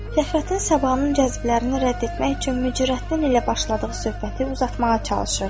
Fəxrəddin Sabahın cəzblərini rədd etmək üçün Mücərrəttin ilə başladığı söhbəti uzatmağa çalışırdı.